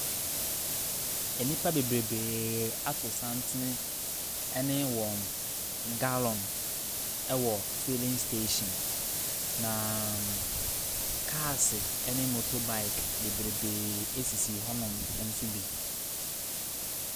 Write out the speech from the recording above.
Nnipa bebrebee ato santene ne wɔn gallon wɔ filling station, na kaase ne motorbike bebrebee sisi hɔnom nso bi.